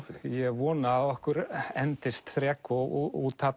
ég vona að okkur endist þrek og úthald